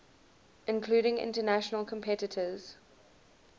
including international competitors